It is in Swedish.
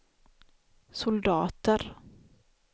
soldater